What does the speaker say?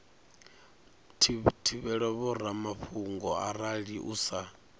thivhela vhoramafhungo arali u sa